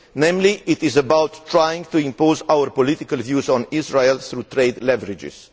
Namely it is about trying to impose our political views on Israel through trade leverages.